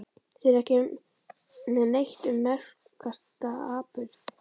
Þeir eru ekki með neitt um merkasta atburð